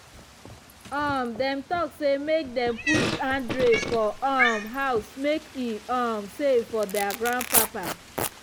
um dem talk say make dem put handrail for um house make e um safe for their grandpapa